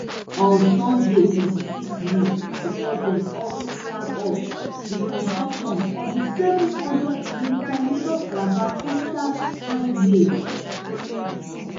on sunday twenty-six may di president also flag off di construction of di seven hundredkm lagoscalabar coastal highway